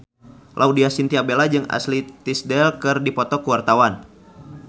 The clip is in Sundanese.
Laudya Chintya Bella jeung Ashley Tisdale keur dipoto ku wartawan